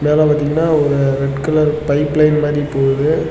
அங்கன பாத்திங்கனா ஒரு ரெட் கலர் பைப்லைன் மாரி போவுது.